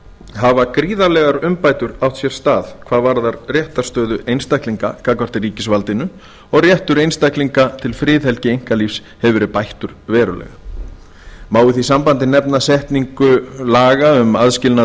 hafa gríðarlegar umbætur átt sér stað hvað varðar réttarstöðu einstaklinga gagnvart ríkisvaldinu og réttur einstaklinga til friðhelgi einkalífs hefur verið bættur verulega má í því sambandi nefna setningu laga um aðskilnað